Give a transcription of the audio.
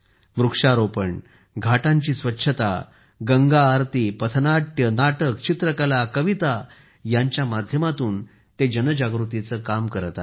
वृक्षारोपण घाटांची स्वच्छता गंगा आरती पथनाट्य चित्रकला आणि कविता यांच्या माध्यमातून ते जनजागृतीचे काम करत आहेत